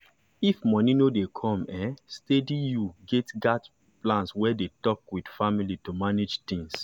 if money no dey come um steady you gats plan well and dey talk with family to manage things.